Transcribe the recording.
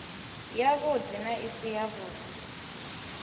yavhudi na i si yavhudi